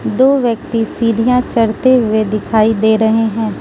दो व्यक्ति सीढ़ियां चढ़ते हुए दिखाई दे रहे हैं।